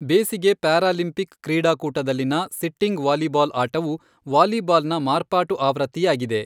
ಬೇಸಿಗೆ ಪ್ಯಾರಾಲಿಂಪಿಕ್ ಕ್ರೀಡಾಕೂಟದಲ್ಲಿನ sitting volleyball ಆಟವು ವಾಲಿಬಾಲ್ನ ಮಾರ್ಪಾಟು ಆವೃತ್ತಿಯಾಗಿದೆ.